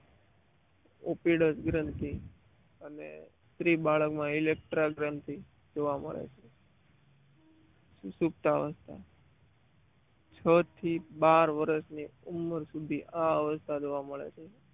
Officer ગ્રંથ અને શ્રી બાળકમાં ઇલેક્ટ્રોડ ગ્રંથિ જોવા મળે છ સુષુપ્ત અવસ્થ છ થી બાર વર્ષની ઉંમર સુધી આ અવસ્થા જોવા મળે છે